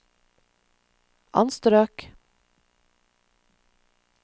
anstrøk